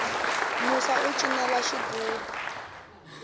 musa u cinela xigubu